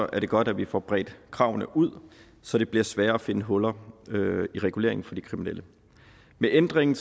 det godt at vi får bredt kravene ud så det bliver sværere at finde huller i reguleringen for de kriminelle med ændringen